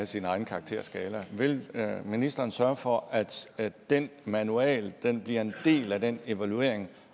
sin egen karakterskala vil ministeren sørge for at at den manual bliver en del af den evaluering